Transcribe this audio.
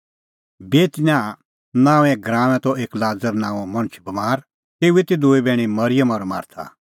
बेतनियाह नांओंए गराऊंऐं त एक लाज़र नांओं मणछ बमार तेऊए ती दूई बैहणी मरिअम और मार्था